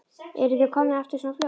Eruð þið komnir aftur svona fljótt?